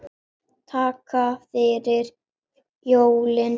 Takk fyrir jólin.